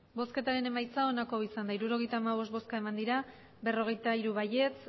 emandako botoak hirurogeita hamabost bai berrogeita hiru ez